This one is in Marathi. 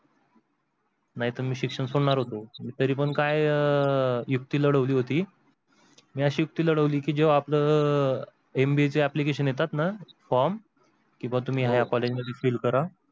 नाहीतर मी शिक्षण सोडणार होतो, तरी पण काय अह युक्ति लढवली होती मी अशी युक्ति लढवली की अह MBA चे एप्लिकेशन येतात ना form की हा तुम्ही या college मध्ये fill करा